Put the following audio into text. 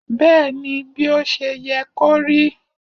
bẹẹni, bi o ṣe ye korí